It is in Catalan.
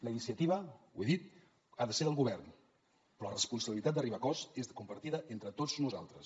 la iniciativa ho he dit ha de ser del govern però la responsabilitat d’arribar a acords és compartida entre tots nosaltres